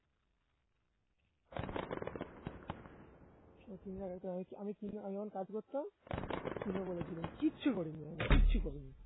তুমি আর আমি একই আমি কিনব আমি যখন কাজ করতাম কিনবো বলেছিলাম কিচ্ছু করিনি আমি কিচ্ছু করিনি